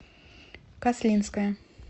каслинская